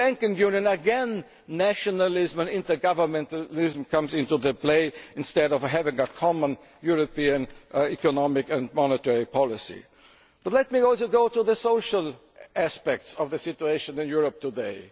With the banking union again, nationalism and intergovernmentalism come into play instead of having a common European economic and monetary policy. Let me also look at the social aspects of the situation in Europe today.